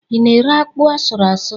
Ị na-ere akpụ asụrụ ásụ̀?